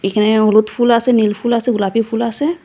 এখানে হলুদ ফুল আসে নীল ফুল আসে গোলাপি ফুল আসে।